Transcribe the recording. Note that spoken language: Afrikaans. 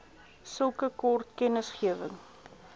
sulke kort kennisgewing